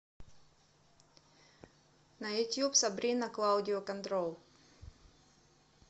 на ютьюб сабрина клаудио контрол